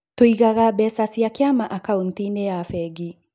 Tũigaga mbeca cia kĩama akaũnti-inĩ ya bengi.